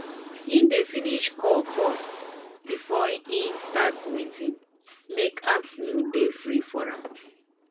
he dey finish call first before he start meeting make afternoon dey free for am.